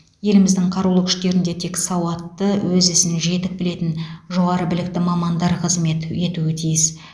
еліміздің қарулы күштерінде тек сауатты өз ісін жетік білетін жоғары білікті мамандар қызмет етуі тиіс